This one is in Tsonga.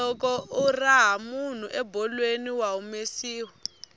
loko u raha munhu ebolweni wa humesiwa